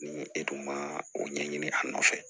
Ni e dun ma o ɲɛɲini a nɔfɛ